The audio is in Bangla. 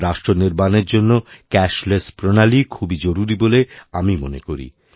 রাষ্ট্রনির্মাণের জন্য ক্যাশ লেস প্রণালী খুবই জরুরি বলে আমি মনে করি